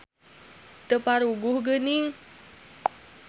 Teu paruguh gening.